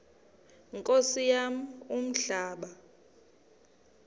nkosi yam umhlaba